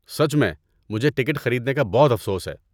سچ میں، مجھے ٹکٹ خریدنے کا بہت افسوس ہے۔